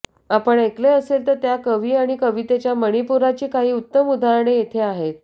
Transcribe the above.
आपण ऐकले असेल त्या कवी आणि कवितेच्या मणिपुराची काही उत्तम उदाहरणे येथे आहेत